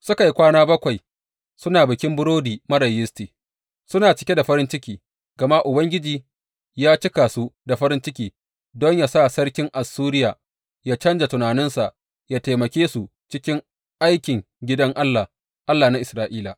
Suka yi kwana bakwai suna Bikin Burodi Marar Yisti, suna cike da farin ciki, gama Ubangiji ya cika su da farin ciki don ya sa sarkin Assuriya ya canja tunaninsa, ya taimake su cikin aikin gidan Allah, Allah na Isra’ila.